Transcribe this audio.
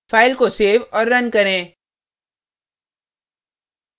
file को save और run करें